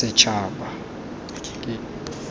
setšhaba